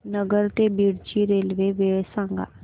नगर ते बीड ची रेल्वे वेळ सांगा